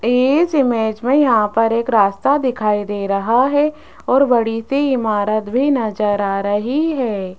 इस इमेज में यहां पर एक रास्ता दिखाई दे रहा है और बड़ी से इमारत भी नजर आ रही है।